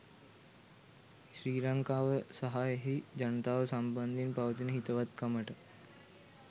ශ්‍රී ලංකාව සහ එහි ජනතාව සම්බන්ධයෙන් පවතින හිතවත්කමට.